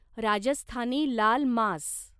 राजस्थानी लाल मांस